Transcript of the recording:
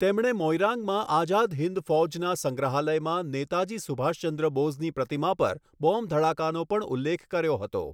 તેમણે મોઈરાંગમાં આઝાદ હિંદ ફૌજના સંગ્રહાલયમાં નેતાજી સુભાષચંદ્ર બોઝની પ્રતિમા પર બૉમ્બ ધડાકાનો પણ ઉલ્લેખ કર્યો હતો.